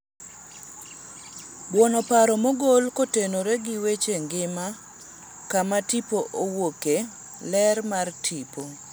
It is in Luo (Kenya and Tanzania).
buono paro mogol kotenore gi weche ngima kama tipo owuoke, ler mar tipo